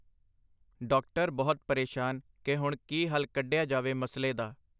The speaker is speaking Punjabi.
ਡਾਕਟਰ ਬਹੁਤ ਪ੍ਰੇਸ਼ਾਨ ਕਿ ਹੁਣ ਕੀ ਹੱਲ ਕੱਢਿਆ ਜਾਵੇ ਮਸਲੇ ਦਾ.